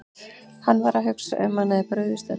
Hann var að hugsa um að hann hefði brugðist öllum.